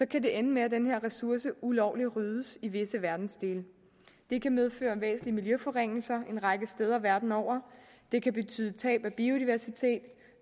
kan det ende med at den her ressource ulovligt ryddes i visse verdensdele det kan medføre væsentlige miljøforringelser en række steder verden over det kan betyde tab af biodiversitet